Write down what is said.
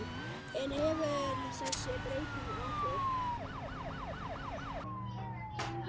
En hefur þessi breyting áhrif?